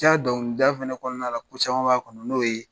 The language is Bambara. Jaa dɔnkili da fɛnɛ kɔnɔna la ko caman b'a kɔnɔ n'o ye